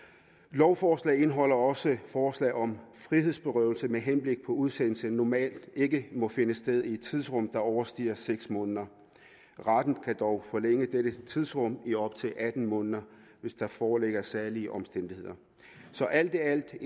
lovforslaget indeholder også et forslag om at frihedsberøvelse med henblik på udsendelse normalt ikke må finde sted i et tidsrum der overstiger seks måneder retten kan dog forlænge dette tidsrum i op til atten måneder hvis der foreligger særlige omstændigheder så alt i alt er